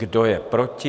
Kdo je proti?